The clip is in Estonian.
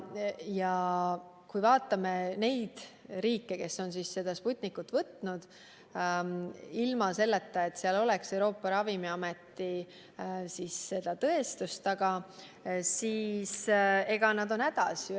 Ja kui me vaatame neid riike, kes on soovinud Sputnikut hankida ilma selleta, et seal oleks Euroopa Ravimiameti tõestus taga, siis nad on hädas.